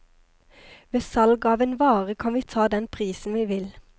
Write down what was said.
Ved salg av en vare kan vi ta den prisen vi vil.